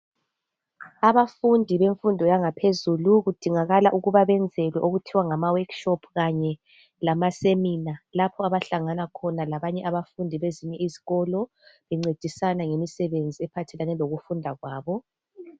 Abafundi bemfundo yangaphezulu kudingakala ukubana benzelwe okuthiwa ngama 'workshop' kanye lama 'seminar' lapho abahlangana khona labanye abafundi bezinye izikolo bencedisana ngemisebenzi ephathelane lokufunda kwabo.